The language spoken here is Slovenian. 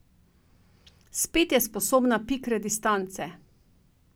Spet je sposobna pikre distance.